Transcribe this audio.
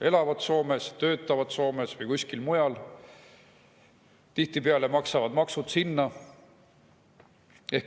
elavad nüüd Soomes, töötavad Soomes või kuskil mujal ja tihtipeale maksavad oma maksud sinna.